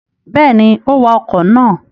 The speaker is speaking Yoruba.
Bẹ́ẹ̀ni, ó wa ọkọ̀ náà.